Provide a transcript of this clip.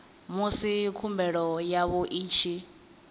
musi khumbelo yavho i tshi